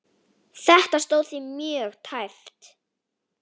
Þetta stóð því mjög tæpt.